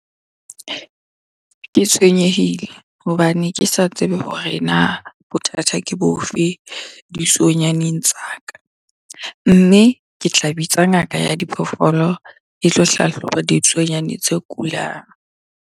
Ke tshwenyehile hobane ke sa tsebe hore na bothata ke bo fe ditsuonyaneng tsa ka? Mme ke tla bitsa ngaka ya diphoofolo e tlo hlahloba ditsuonyane tse kulang.